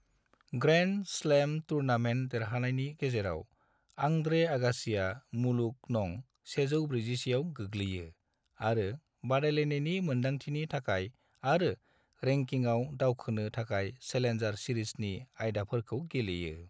Grand slam tournament देरहानायनि गेजेराव Andre आगासिआ मुलुग नं 141 आव गैग्लैयो आरो बादायलायनायनि मोनदांथिनि थाखाय आरो रेंकिंआव दावखोनो थाखाय चेलेन्जार सिरिजनि आयदाफोरखौ गेलेयो।